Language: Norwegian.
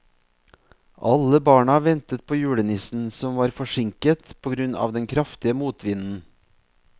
Alle barna ventet på julenissen, som var forsinket på grunn av den kraftige motvinden.